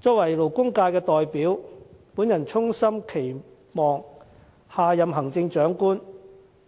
作為勞工界的代表，我衷心期望下任行政長官